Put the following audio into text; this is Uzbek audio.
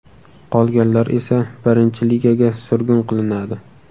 Qolganlar esa Birinchi Ligaga surgun qilinadi.